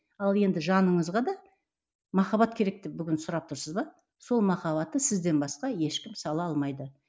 ал енді жаныңызға да махаббат керек деп бүгін сұрап тұрсыз ба сол махаббатты сізден басқа ешкім сала алмайды